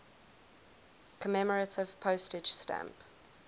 commemorative postage stamp